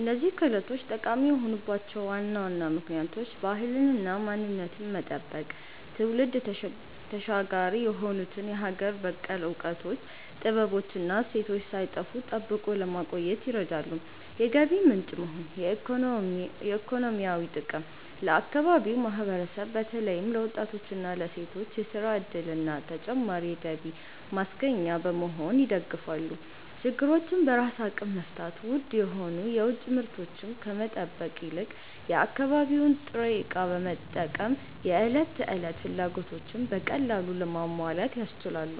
እነዚህ ክህሎቶች ጠቃሚ የሆኑባቸው ዋና ዋና ምክንያቶች፦ ባህልንና ማንነትን መጠበቅ፦ ትውልድ ተሻጋሪ የሆኑትን የሀገር በቀል እውቀቶች፣ ጥበቦች እና እሴቶች ሳይጠፉ ጠብቆ ለማቆየት ይረዳሉ። የገቢ ምንጭ መሆን (ኢኮኖሚያዊ ጥቅም)፦ ለአካባቢው ማህበረሰብ በተለይም ለወጣቶችና ለሴቶች የሥራ ዕድልና ተጨማሪ የገቢ ማስገኛ በመሆን ይደግፋሉ። ችግሮችን በራስ አቅም መፍታት፦ ውድ የሆኑ የውጭ ምርቶችን ከመጠበቅ ይልቅ የአካባቢውን ጥሬ ዕቃ በመጠቀም የዕለት ተዕለት ፍላጎቶችን በቀላሉ ለማሟላት ያስችላሉ።